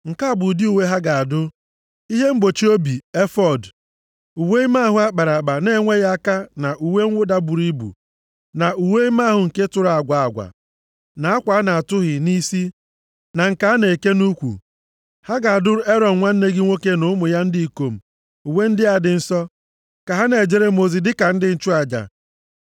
Nke a bụ ụdị uwe ha ga-adụ: Ihe mgbochi obi, efọọd, uwe ime ahụ akpara akpa na-enweghị aka na uwe mwụda buru ibu, na uwe ime ahụ nke tụrụ agwa agwa na akwa a na-atụhị nʼisi na nke a na-eke nʼukwu. Ha ga-adụrụ Erọn nwanne gị nwoke na ụmụ ya ndị ikom uwe ndị a dị nsọ. Ka ha na-ejere m ozi dịka ndị nchụaja.